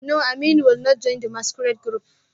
No, Aminu will not join the masquerade group